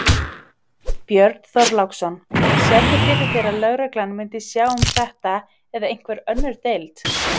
Björn Þorláksson: Sérðu fyrir þér að lögreglan myndi sjá um þetta eða einhver önnur deild?